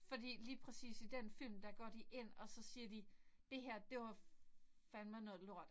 Fordi lige præcis i den film der går de ind og så siger de det her det var fandeme noget lort